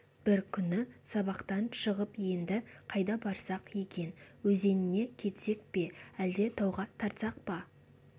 бір күні сабақтан шығып енді қайда барсақ екен өзеніне кетсек пе әлде тауға тартсақ па